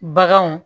Baganw